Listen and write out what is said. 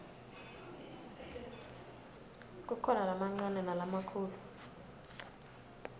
kukhona lamancane nalamakhulu